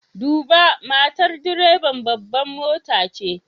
Duba! matar direban babbar mota ce.